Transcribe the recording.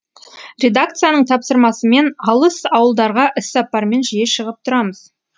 редакцияның тапсырмасымен алыс ауылдарға іссапармен жиі шығып тұрамыз